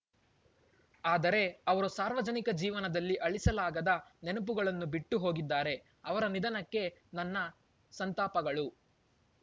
ಆದರೆ ಅವರು ಸಾರ್ವಜನಿಕ ಜೀವನದಲ್ಲಿ ಅಳಿಸಲಾಗದ ನೆನಪುಗಳನ್ನು ಬಿಟ್ಟು ಹೋಗಿದ್ದಾರೆ ಅವರ ನಿಧನಕ್ಕೆ ನನ್ನ ಸಂತಾಪಗಳು